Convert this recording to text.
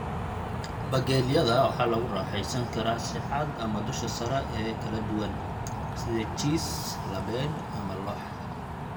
Bagelyada waxaa lagu raaxaysan karaa si cad ama dusha sare oo kala duwan, sida jiis labeen ama lox.